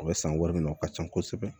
O bɛ san wari min o ka ca kosɛbɛ